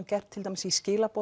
gert til dæmis í